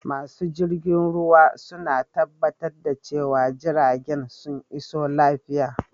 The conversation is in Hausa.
Masu jirgin ruwa suna tabbatar da cewa jiragen sun iso lafiya.